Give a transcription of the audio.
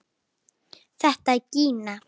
Þetta er Gína!